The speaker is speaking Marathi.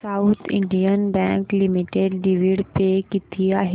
south Indian Bank Limited dividend pay किती आहे